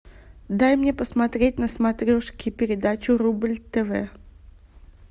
дай мне посмотреть на смотрешке передачу рубль тв